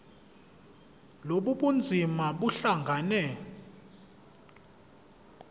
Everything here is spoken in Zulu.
lobu bunzima buhlangane